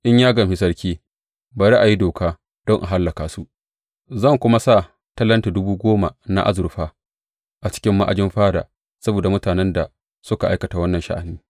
In ya gamshi sarki, bari a yi doka, don a hallaka su, zan kuma sa talenti dubu goma na azurfa a cikin ma’ajin fada saboda mutanen da suka aikata wannan sha’ani.